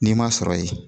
N'i ma sɔrɔ ye